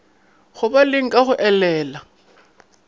go baleng ka go elela